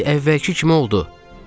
Hər şey əvvəlki kimi oldu.